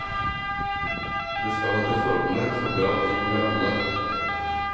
Det skal etter forholdene stå bra til med alle.